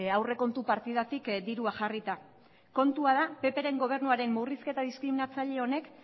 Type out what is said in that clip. aurrekontu partidatik dirua jarrita kontua da ppren gobernuaren murrizketa diskriminatzaile honek